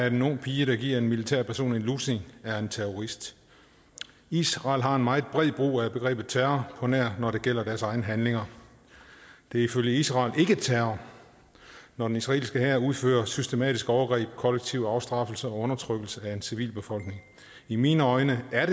en ung pige der giver en militærperson en lussing er terrorist israel har en meget bred brug af begrebet terror på nær når det gælder deres egne handlinger det er ifølge israel ikke terror når den israelske hær udfører systematiske overgreb kollektiv afstraffelse og undertrykkelse af en civilbefolkning i mine øjne er